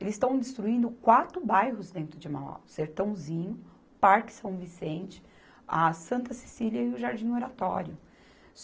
Eles estão destruindo quatro bairros dentro de Mauá, Sertãozinho, Parque São Vicente, a Santa Cecília e o Jardim Oratório.